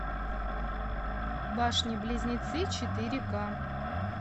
башни близнецы четыре ка